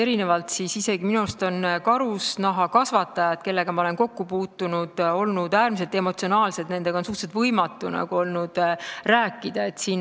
Minu arust on just karusloomakasvatajad, kellega ma kokku olen puutunud, olnud äärmiselt emotsionaalsed, nendega on olnud suhteliselt võimatu rääkida.